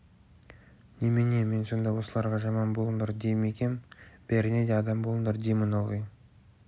немене мен сонда осыларға жаман болыңдар дей ме екем бәріне де адам болыңдар деймін ылғи